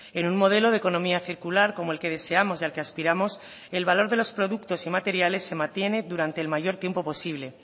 en un modelo de economía circular como el que deseamos y al que aspiramos el valor de los productos y materiales se mantiene durante el mayor tiempo posible